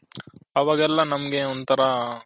ಅವಗೆಲ್ಲ ನಮ್ಮಗೆ ಒಂದು ತರ Health ಮೇಲೆ.